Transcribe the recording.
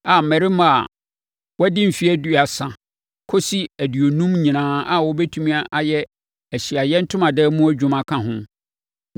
a mmarima a wɔadi mfeɛ aduasa kɔsi aduonum nyinaa a wɔbɛtumi ayɛ Ahyiaeɛ Ntomadan mu adwuma ka ho,